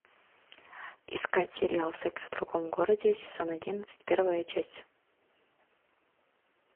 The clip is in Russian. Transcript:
искать сериал секс в другом городе сезон одиннадцать первая часть